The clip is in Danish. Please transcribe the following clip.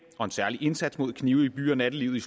og en særlig indsats mod knive i by og nattelivet